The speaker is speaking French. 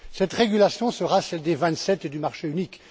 Cette régulation sera celle des Vingt sept et du marché unique.